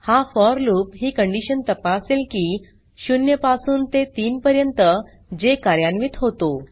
हा for loop ही condition तापासेल की 0 पासून ते 3 पर्यंत जे कार्यान्वित होतो